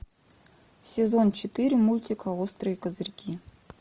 сезон четыре мультика острые козырьки